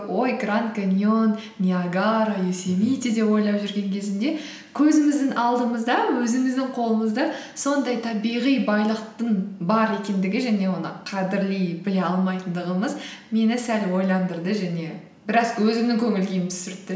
ой гранд каньон ниагара йосемите деп ойлап жүрген кезімде көзіміздің алдымызда өзіміздің қолымызда сондай табиғи байлықтың бар екендігі және оны қадірлей біле алмайтындығымыз мені сәл ойландырды және біраз өзімнің көңіл күйімді түсіртті